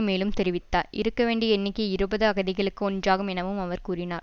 மேலும் தெரிவித்ததார் இருக்க வேண்டிய எண்ணிக்கை இருபது அகதிகளுக்கு ஒன்றாகும் எனவும் அவர் கூறினார்